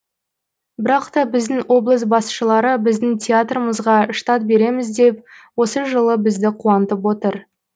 бірақ та біздің облыс басшылары біздің театрымызға штат береміз деп осы жылы бізді қуантып отыр